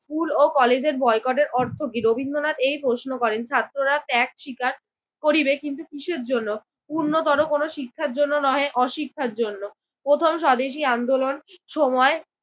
School ও কলেজের বয়কটের অর্থ কি? রবীন্দ্রনাথ এই প্রশ্ন করেন। ছাত্ররা ত্যাগ স্বীকার করিবে কিন্তু কিসের জন্য? উন্নতর কোন শিক্ষার জন্য নহে অশিক্ষার জন্য। প্রথম স্বদেশি আন্দোলন সময়